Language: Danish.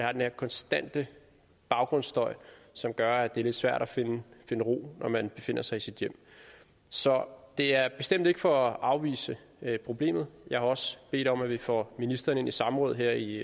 er den her konstante baggrundsstøj som gør at det er lidt svært at finde ro når man befinder sig i sit hjem så det er bestemt ikke for at afvise problemet jeg har også bedt om at vi får ministeren i samråd her i